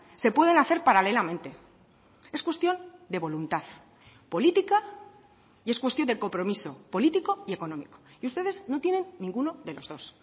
se pueden hacer paralelamente es cuestión de voluntad política y es cuestión de compromiso político y económico y ustedes no tienen ninguno de los dos